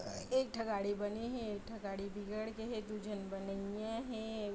अ एक ठ गाड़ी बने हे एक ठ गाड़ी बिगड़ गे हे दु झन बनइया हे एक--